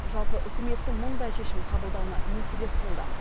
жалпы үкіметтің мұндай шешім қабылдауына не себеп болды